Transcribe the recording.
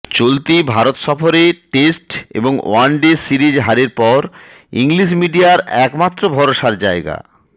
চলতি ভারত সফরে টেস্ট এবং ওয়ান ডে সিরিজ হারের পর ইংলিশ মিডিয়ার একমাত্র ভরসার জায়গা